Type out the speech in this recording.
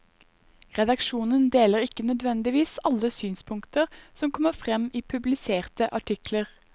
Redaksjonen deler ikke nødvendigvis alle synspunkter som kommer frem i publiserte artikler.